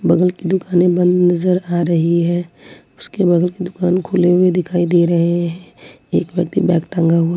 बगल की दुकाने बंद नजर आ रही है उसके बाद की दुकान खुले हुए दिखाई दे रहे हैं एक व्यक्ति बैग टांगा हुआ--